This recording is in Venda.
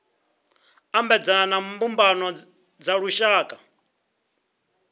ambedzana na mbumbano dza lushaka